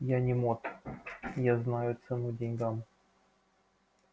я не мот я знаю цену деньгам